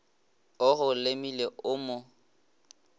o go lemile o mo